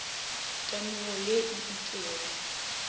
temogo ye e itšego ya